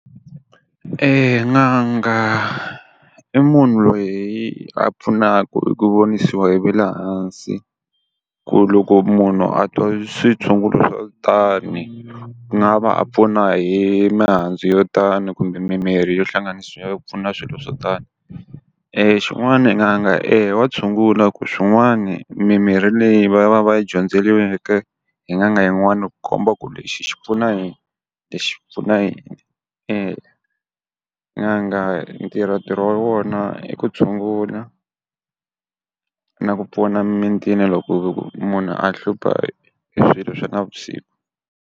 n'anga i munhu loyi a pfunaka hi ku vonisiwa hi va le hansi ku loko munhu a twa switshungulo swa ku tani, a nga va pfuna hi mihandzu yo tani kumbe mimirhi yo hlanganisiwa yo pfuna swilo swo tani. xin'wana a nge eya wa tshungula hikuva swin'wani mimirhi leyi va va va yi dyondzisiweke hi n'anga yin'wana komba ku lexi xi pfuna yini, lexi pfuna yini. n'anga e ntirho ntirho wa wona i ku tshungula, na ku pfuna mimitini loko ku ve ku munhu a hlupha hi swilo swa navusiku.